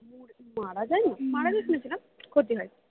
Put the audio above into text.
মারা যায়না মারা যাই বলছি না ক্ষতি হয়